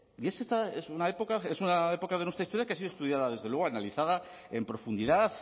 es una época de nuestra historia que ha sido estudiada desde luego analizada en profundidad